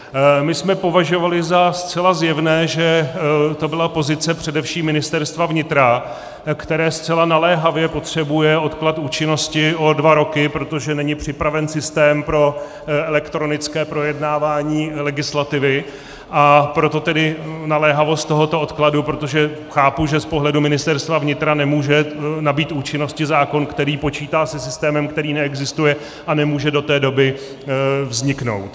My jsme považovali za zcela zjevné, že to byla pozice především Ministerstva vnitra, které zcela naléhavě potřebuje odklad účinnosti o dva roky, protože není připraven systém pro elektronické projednávání legislativy, a proto tedy naléhavost tohoto odkladu, protože chápu, že z pohledu Ministerstva vnitra nemůže nabýt účinnosti zákon, který počítá se systémem, který neexistuje a nemůže do té doby vzniknout.